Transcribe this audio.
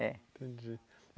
É. Entendi.